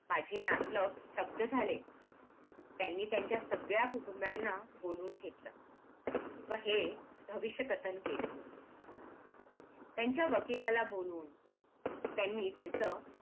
माझे नातलग स्तब्ध झाले त्यांनी त्यांच्या सगळ्या कुटुंबाना बोलवून घेतलं व हे भविष्य कथन केलं त्यांच्या वकिलाला बोलवून त्यांनी त्यांचं